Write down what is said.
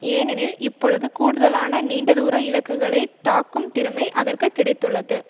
ஏனெனில் இப்பொழுது கூடுதலான நீண்டதூர இலக்குகளை தாக்கும் திறமை அதற்குக்கிடைத்துள்ளது